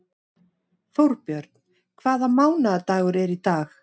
Þórbjörn, hvaða mánaðardagur er í dag?